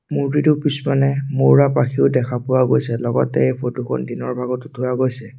মুৰ্ত্তিটোৰ পিছফালে মৌৰা পাখিও দেখা পোৱা গৈছে লগতে এই ফটো খন দিনৰ ভাগত উঠোৱা গৈছে।